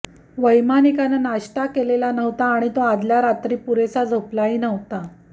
वैमानिकानं नाश्ता केलेला नव्हता आणि तो आदल्या राक्षी पुरेसा झोपलाही नव्हता